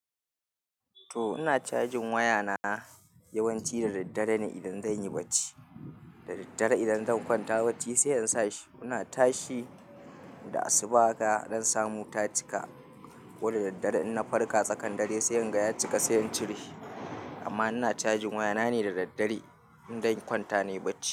To, ina cajin wayana yawanci da daddare ne idan zan yi barci. Da daddare idan zan kwanta bacci sai in sa shi. Ina tashi da asuba haka zam samu ta cika. Koda daddare in na farka tsakan dare sai in ga ya cika sai in cire shi. Amma ina cajin wayana ne da daddare idan zan kwanta ne bacci.